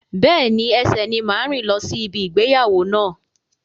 Bẹ́ẹ̀ni, ẹsẹ ni n máa rìn lọ si ibi ìgbéyàwó náà.